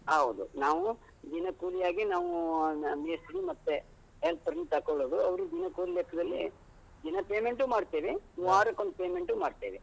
ಹೌದು ನಾವು ದಿನಕೂಲಿಯಾಗಿ ನಾವು ಮ ಮೇಸ್ತ್ರಿ ಮತ್ತೆ helper ನು ತಕ್ಕೋಳುದು. ಅವ್ರು ದಿನಕೂಲಿ ಲೆಕ್ಕದಲ್ಲಿ ದಿನ payment ಊ ಮಾಡ್ತೇವೆ, ವಾರಕ್ಕೊಂದ್ payment ಊ ಮಾಡ್ತೇವೆ.